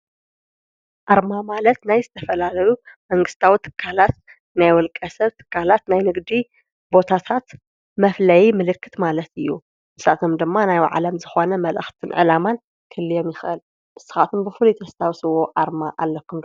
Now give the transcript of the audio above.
ኣርማ ማለት ናይ ዝተፈላለዩ መንግስታዊ ትካላት ናይ ውልቀ ሰብ ትካላት ናይ ንግዲ ቦታታት መፍለይ ምልክት ማለት እዩ። ንሳቶም ድማ ናይ ባዕሎም ዝኾነ መልእኽትን ዕላማን ክህልዎም ይኽእል። ንስካትኩም ብፉሉይ ተስታውስዎ ኣርማ ኣለኩም ዶ?